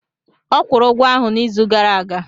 Ọ kwụrụ ụgwọ ahụ n'izu gara aga.